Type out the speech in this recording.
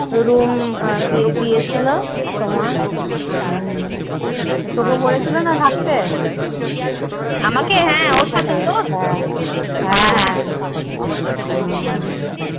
Room দিয়ে~ দিয়েছিল তোমার তোকে বলেছিলনা থাকতে?